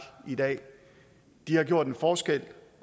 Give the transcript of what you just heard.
i dag de har gjort en forskel